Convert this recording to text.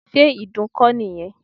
Ṣé ìdun kọ́ nìyẹn?